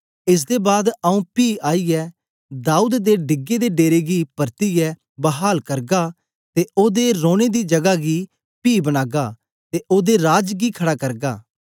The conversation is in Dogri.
एस दे बाद आंऊँ पी आईयै दाऊद दे डिगे दे डेरे गी पर्तियै बहाल करगा ते ओदे रौने दी जगा गी पी बनागा ते ओदे राज गी खड़ा करगा